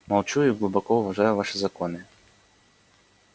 молчу и глубоко уважаю ваши законы